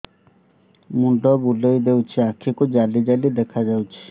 ମୁଣ୍ଡ ବୁଲେଇ ଦେଉଛି ଆଖି କୁ ଜାଲି ଜାଲି ଦେଖା ଯାଉଛି